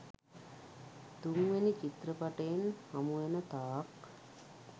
තුන්වෙනි චිත්‍රපටයෙන් හමුවෙන තාක්